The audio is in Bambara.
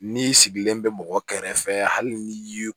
N'i sigilen bɛ mɔgɔ kɛrɛfɛ hali ni ye